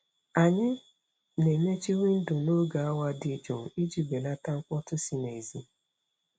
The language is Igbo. Anyị na-emechi windo n'oge awa dị jụụ iji belata mkpọtụ si n'èzí.